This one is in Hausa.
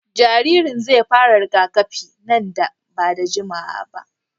Jaririn zai fara rigakafi nan ba da jimawa ba.